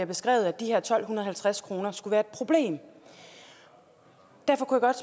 beskrevet at de her tolv halvtreds kroner skulle være problem derfor kunne godt